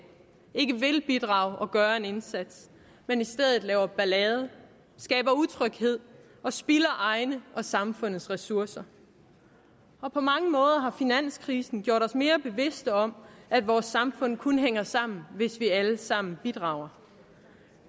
ikke vil bidrage og gøre en indsats men i stedet laver ballade skaber utryghed og spilder egne og samfundets ressourcer på mange måder har finanskrisen gjort os mere bevidste om at vores samfund kun hænger sammen hvis vi alle sammen bidrager